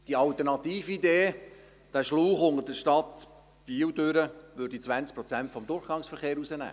Die Alternatividee, dieser Schlauch unter der Stadt Biel, würde 20 Prozent des Durchgangsverkehrs rausnehmen.